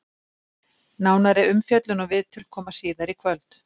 Nánari umfjöllun og viðtöl koma síðar í kvöld.